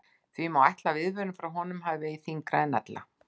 Því má ætla að viðvörun frá honum hafi vegið þyngra en ella.